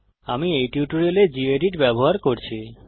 আমি এই টিউটোরিয়ালে গেদিত ব্যবহার করছি